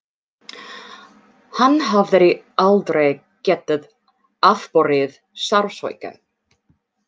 Hann hafði aldrei getað afborið sársauka.